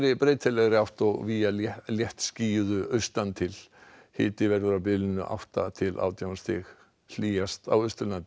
breytilegri átt og víða léttskýjuðu austan til hiti verður á bilinu átta til átján stig hlýjast á Austurlandi